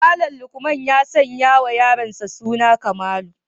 Malam lukman ya sanyawa yaronsa suna kamalu